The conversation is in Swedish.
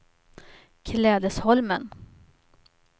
Klädesholmen